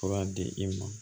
Fura di i ma